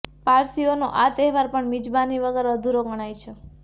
પારસીઓનો આ તહેવાર પણ મિજબાની વગર અધૂરો ગણાય છે